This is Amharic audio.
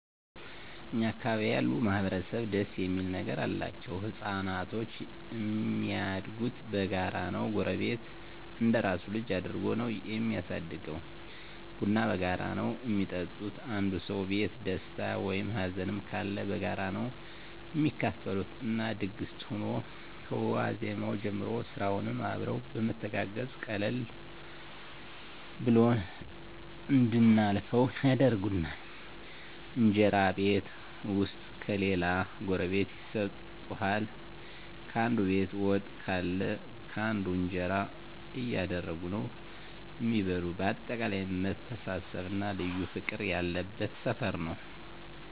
እኛ አካባቢ ያሉ ማህበረሰብ ደስ እሚል ነገር አላቸዉ። ህፃናቶች እሚያድጉት በጋራ ነዉ ጎረቤት እንደራሱ ልጅ አድርጎ ነዉ እሚያሳድገዉ፣ ቡና በጋራ ነዉ እሚጠጡት፣ አንዱ ሰዉ ቤት ደስታ ወይም ሀዘንም ካለ በጋራ ነዉ እሚካፈሉት እና ድግስ ሁኖ ከዋዜማዉ ጀምሮ ስራዉንም አብረዉ በመተጋገዝ ቀለል ብሎን እንድናልፈዉ ያደርጉናል። እንጀራ ቤት ዉስጥ ከሌለ ጎረቤት ይሰጡሀል፣ ካንዱ ቤት ወጥ ካለ ካንዱ እንጀራ እያደረጉ ነዉ እሚበሉ በአጠቃላይ መተሳሰብ እና ልዩ ፍቅር ያለበት ሰፈር ነዉ።